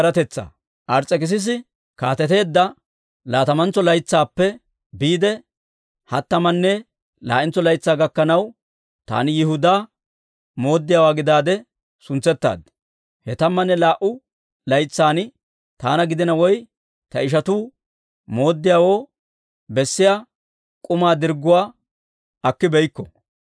Ars's'ekissisi kaateteedda laatamantso laytsaappe biide, hattamanne laa'entso laytsaa gakkanaw, taani Yihudaa mooddiyaawaa gidaade suntsettaad. He tammanne laa"u laytsan, taana gidina woy ta ishatuu mooddiyaawoo bessiyaa k'umaa dirgguwaa akkibeykko.